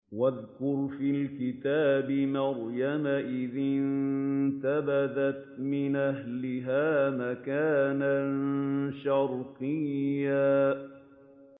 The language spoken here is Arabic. وَاذْكُرْ فِي الْكِتَابِ مَرْيَمَ إِذِ انتَبَذَتْ مِنْ أَهْلِهَا مَكَانًا شَرْقِيًّا